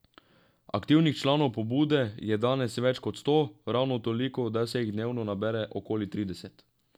Aktivnih članov pobude je danes več kot sto, ravno toliko, da se jih dnevno nabere okoli trideset.